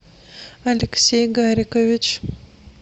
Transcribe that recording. алексей гарикович